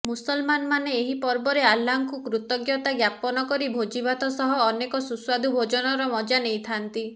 ମୁସଲମାନମାନେ ଏଇ ପର୍ବରେ ଆଲ୍ଲାଙ୍କୁ କୃତଜ୍ଞତା ଜ୍ଞାପନ କରି ଭୋଜିଭାତ ସହ ଅନେକ ସୁସ୍ୱାଦୁ ଭୋଜନର ମଜା ନେଇଥାନ୍ତି